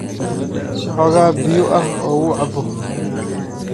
Sii xoogaa biyo ah oo uu cabbo.